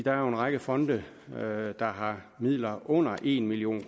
er jo en række fonde der har midler under en million